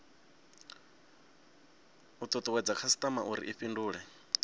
tutuwedze khasitama uri i fhindule